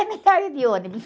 É melhor ir de ônibus.